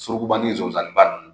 Surukuba ni nsonsanninba ninnu.